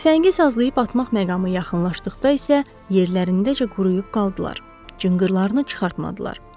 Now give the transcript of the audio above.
Tüfəngi sazlayıb atmaq məqamı yaxınlaşdıqda isə yerlərindəcə quruyub qaldılar, cınqırlarını çıxartmadılar.